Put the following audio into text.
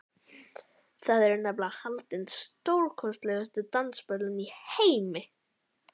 Þar eru nefnilega haldin stórkostlegustu dansiböll í heimi.